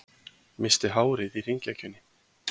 Missti hárið í hringekjunni